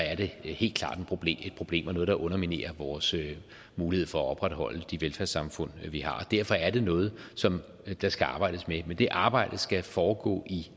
er det helt klart et problem og noget der underminerer vores mulighed for at opretholde de velfærdssamfund vi har derfor er det noget som der skal arbejdes med men det arbejde skal foregå i